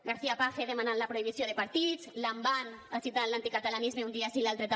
garcía page demanant la prohibició de partits lamban agitant l’anticatalanisme un dia sí i l’altre també